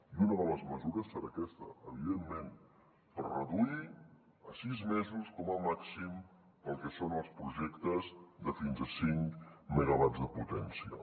i una de les mesures serà aquesta evidentment per reduir a sis mesos com a màxim per al que són els projectes de fins a cinc megawatts de potència